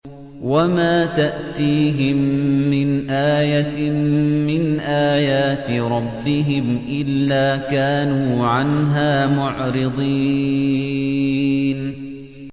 وَمَا تَأْتِيهِم مِّنْ آيَةٍ مِّنْ آيَاتِ رَبِّهِمْ إِلَّا كَانُوا عَنْهَا مُعْرِضِينَ